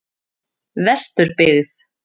Vesturbyggð